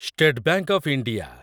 state Bank of India